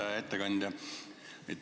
Hea ettekandja!